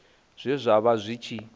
zwe zwa vha zwi tshi